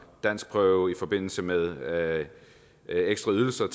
danskprøve i forbindelse med ekstra ydelser